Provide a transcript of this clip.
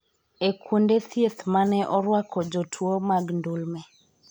e kuonde thieth mane orwako jotuo mag ndulme